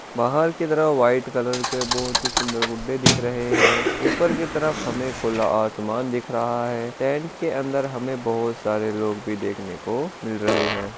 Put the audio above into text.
बाहर की तरह व्हाइट कलर के बहुत ही सुन्दर गुड्डे दिख रहे है ऊपर की तरफ हमे खुला आसमान दिख रहा है टेंट के अंदर हमे बहुत सारे लोग देखने को मिल रहे है।